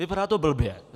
Vypadá to blbě.